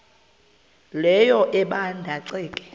leyo ebanda ceke